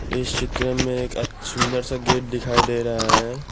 इस चित्र में एक सुंदर सा गेट दिखाई दे रहा है।